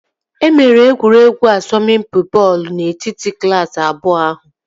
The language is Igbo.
E mere egwuregwu asọmpi bọọlụ n'etiti klaasị abụọ ahụ